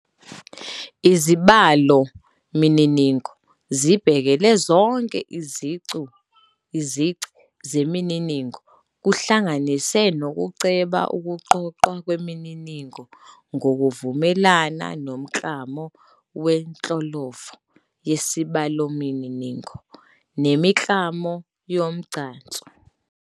Izibalomininingo zibhekele zonke izici zemininingo, kuhlanganise nokuceba ukuqoqwa kwemininingo ngokuvumelana nomklamo wenhlolovo yesibalomininingo nemiklamo yomgcanso.